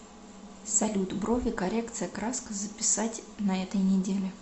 салют брови коррекция краска записать на этой неделе